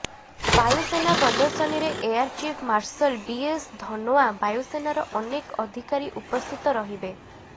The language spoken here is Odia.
ବାୟୁସେନା ପ୍ରଦର୍ଶନୀରେ ଏୟାରଚିଫ ମାର୍ଶଲ ବିଏସ୍ ଧନୋଆ ବାୟୁସେନାର ଅନେକ ଅଧିକାରୀ ଉପସ୍ଥିତ ରହିବେ